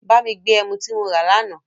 Bá mi gbé ẹmu tí mo rà l'àná